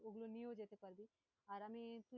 ওগুলো নিয়েও যেতে পারবি, আর আমি